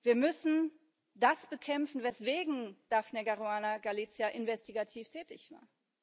Wir müssen das bekämpfen, weswegen Daphne Caruana Galizia investigativ tätig war.